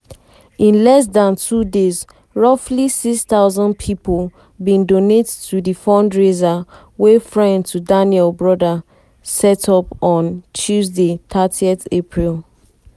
in less dan two days roughly 6000 pipo bin donate to di fundraiser wey friend to daniel brother set up on tuesday thirty april.